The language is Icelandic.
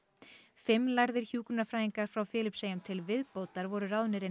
fimm lærðir hjúkrunarfræðingar frá Filippseyjum til viðbótar voru ráðnir inn